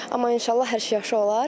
Amma inşallah hər şey yaxşı olar.